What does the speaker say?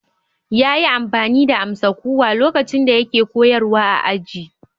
Yayi amfani da amsa-kuwwa lokacin da yake koyarwa a aji.